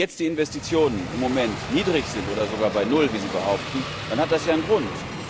Wenn jetzt die Investitionen im Moment niedrig sind oder sogar bei Null, wie Sie behaupten, dann hat das ja einen Grund.